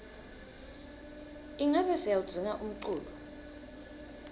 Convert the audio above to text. ingabe siyawudzinga umculo